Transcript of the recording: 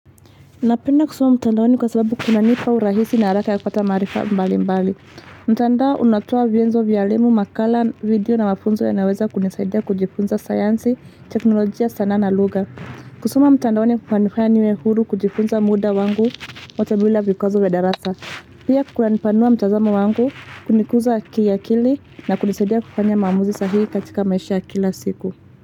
Napenda kusoma mtandaoni kwa sababu kuna nipa urahisi na haraka ya kupata maarifa mbali mbali. Mtandao unatoa vienzo vya elimu, makala, video na mafunzo ya naweza kunisaidia kujifunza science, teknolojia sana na lugha. Kusoma mtandaoni kunanifaya niwe huru kujifunza muda wangu wote bila vikwazo vya darasa. Pia kunanipanua mtazamo wangu kunikuza kiakili na kunisaidia kufanya maamuzi sahihi katika maisha ya kila siku.